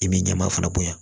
I b'i ɲɛmaa fana bonya